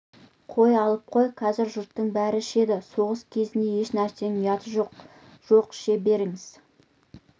қой алып қой қазір жұрттың бәрі ішеді соғыс кезінде еш нәрсенің ұяты жоқ жоқ іше беріңіз